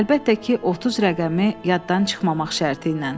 Əlbəttə ki, 30 rəqəmi yaddan çıxmamaq şərti ilə.